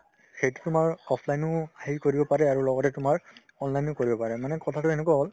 সেইটো তোমাৰ offline ও হেৰি কৰিব পাৰে আৰু লগতে তোমাৰ online ও কৰিব পাৰে মানে কথাতো এনেকুৱা হ'ল